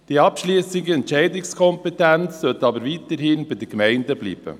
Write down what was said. Die abschliessende Entscheidungskompetenz sollte aber weiterhin bei den Gemeinden bleiben.